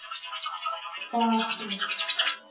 Far þú.